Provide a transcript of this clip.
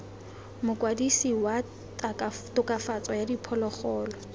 mokwadise wa tokafatso ya diphologolo